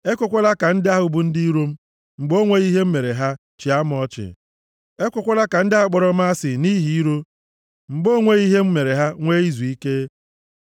Ekwekwala ka ndị ahụ bụ ndị iro m, mgbe o nweghị ihe m mere ha, chịa m ọchị; ekwekwala ka ndị ahụ kpọrọ m asị nʼihi iro, mgbe o nweghị ihe m mere ha nwee izuike.